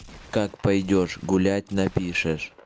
как пойдёшь гулять напишешь